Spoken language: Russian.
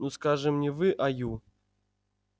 ну скажем не вы а ю